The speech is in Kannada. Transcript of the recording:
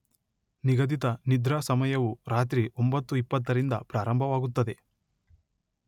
ನಿಗದಿತ ನಿದ್ರಾ ಸಮಯವು ರಾತ್ರಿ ಒಂಭತ್ತು ಇಪ್ಪತ್ತರಿಂದ ಪ್ರಾರಂಭವಾಗುತ್ತದೆ.